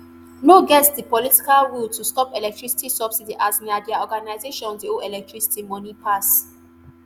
no get di political will to stop electricity subsidy as na dia organizations dey owe electricity money pass